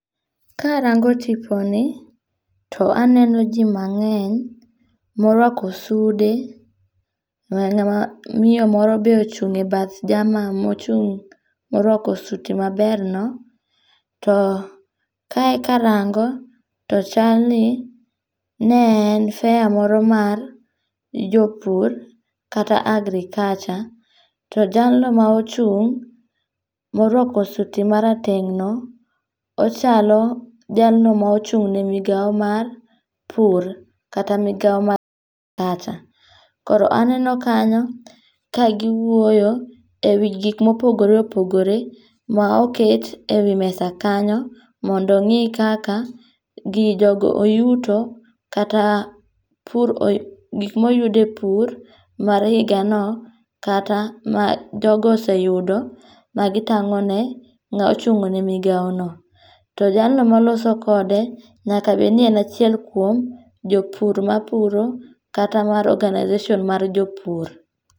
Ka arango tiponi, to aneno ji mangény, morwako sude, miyo moro be ochungé e bath jama mochung' morwako suti maberno. To kae karango, to chalni, ne en fair moro mar jopur kata agriculture. To jalno ma ochung' morwako suti marateng'no, ochalo jalno ma ochung'ne migawo mar pur, kata migawo mar agriculture. Koro aneno kanyo, kagiwuoyo, e wi gik mopogore opogore, ma oket ewi mesa kanyo, mondo ongí kaka gi, jogo oyuto, kata pur gik ma oyud e pur mar higano, kata ma jogo oseyudo, magitangóne ngá ochung' ne migawo no. To jalno maloso kode, nyaka bed ni en achiel kuom jopur mapuro kata mar organization mar jopur.